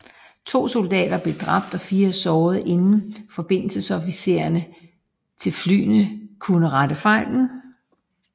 To soldater blev dræbt og 4 såret inden forbindelsesofficererne til flyene kunne rette fejlen